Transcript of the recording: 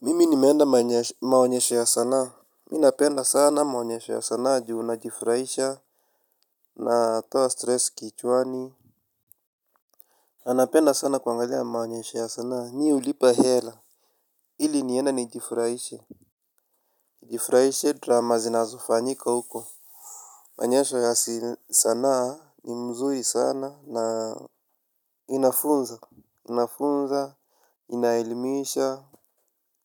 Mimi nimeenda maonyesho ya sanaa. Mi napenda sana maonyesho ya sanaa juu najifurahisha, natoa stress kichwani na napenda sana kuangalia maonyesho ya sanaa. Nyi hulipa hela ili niende nijifurahishe. Jifurahishe drama zinazofanyika huko. Maonyesho ya sanaa ni mzuri sanaa na inafunza. Inafunza, inaelimisha,